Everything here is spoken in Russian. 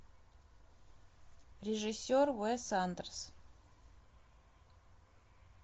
режиссер уэс андерсон